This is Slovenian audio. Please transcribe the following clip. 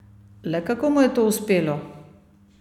Le kako mu je to uspelo?